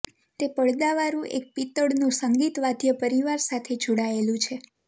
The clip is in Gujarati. તે પડદાવાળું એક પિત્તળનું સંગીત વાદ્ય પરિવાર સાથે જોડાયેલું છે